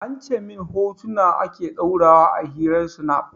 An ce min hotuna ake ɗora wa a hirar snap